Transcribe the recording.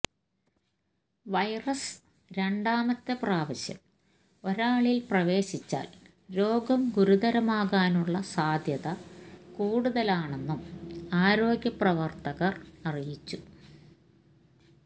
virus രണ്ടാമത്തെ പ്രവാശ്യം ഒരാളില് പ്രവേശിച്ചാല് രോഗം ഗുരുതരമാകാനുള്ള സാധ്യത കൂടുതലാണെന്നും ആരോഗ്യപ്രവര്ത്തകര് അറിയിച്ചു